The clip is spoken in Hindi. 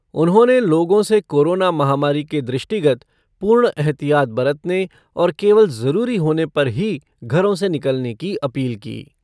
उन्होंने लोगों से कोरोना महामारी के दृष्टिगत पूर्ण एहतियात बरतने और केवल जरूरी होने पर ही घरों से निकलने की अपील की।